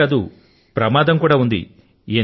మరి ప్రమాదమూ ఉంటుంది